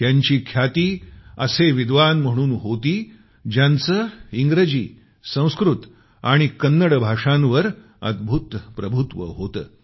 त्यांची ख्याती असे विद्वान म्हणून होती ज्यांचं इंग्रजी संस्कृत आणि कन्नड भाषांवर अद्भुत प्रभुत्व होतं